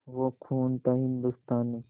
वो खून था हिंदुस्तानी